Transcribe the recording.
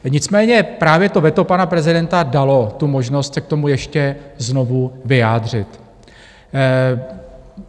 Nicméně právě to veto pana prezidenta dalo tu možnost se k tomu ještě znovu vyjádřit.